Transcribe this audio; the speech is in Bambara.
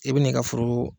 I bɛ n'i ka foro